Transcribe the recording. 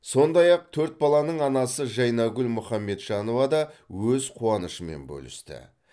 сондай ақ төрт баланың анасы жайнагүл мұхаметжанова да өз қуанышымен бөлісті